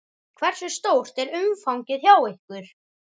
Hversu stórt er umfangið hjá ykkur?